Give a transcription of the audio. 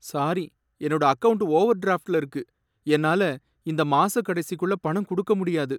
Sorry, என்னோட account ஓவர்டிராஃப்ட்ல இருக்கு, என்னால இந்த மாசக் கடைசிக்குள்ள பணம் குடுக்க முடியாது.